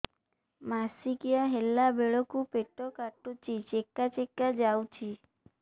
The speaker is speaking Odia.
ମାସିକିଆ ହେଲା ବେଳକୁ ପେଟ କାଟୁଚି ଚେକା ଚେକା ଯାଉଚି